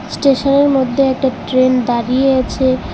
ইস্টেশনের মধ্যে একটা ট্রেন দাঁড়িয়ে আছে।